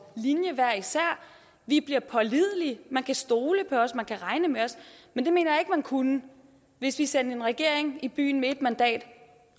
linje vi bliver pålidelige man kan stole på os man kan regne med os men det mener jeg ikke man kunne hvis vi sendte en regering i byen med et mandat